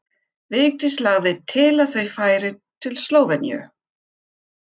Vigdís lagði til að þau færu til Slóveníu.